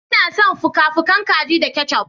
Ina son fuka-fukan kaji da ketchup.